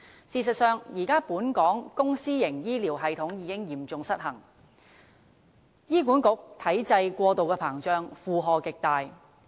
事實上，本港現時的公私營醫療系統已嚴重失衡，醫院管理局體制過度膨脹，負荷極大。